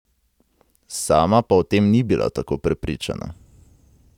Sama pa o tem ni bila tako prepričana.